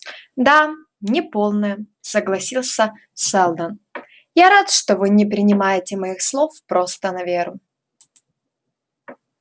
да неполная согласился сэлдон я рад что вы не принимаете моих слов просто на веру